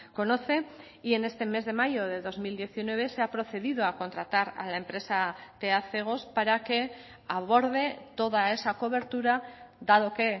conoce y en este mes de mayo de dos mil diecinueve se ha procedido a contratar a la empresa tea cegos para que aborde toda esa cobertura dado que